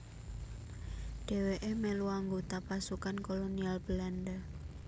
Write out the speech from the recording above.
Dhèwèké melu anggota pasukan kolonial Belanda